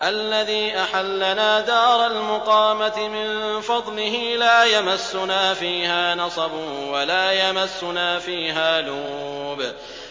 الَّذِي أَحَلَّنَا دَارَ الْمُقَامَةِ مِن فَضْلِهِ لَا يَمَسُّنَا فِيهَا نَصَبٌ وَلَا يَمَسُّنَا فِيهَا لُغُوبٌ